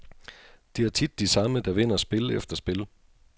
Det er tit de samme, der vinder spil efter spil.